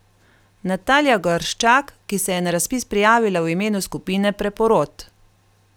Natalija Gorščak, ki se je na razpis prijavila v imenu skupine Preporod!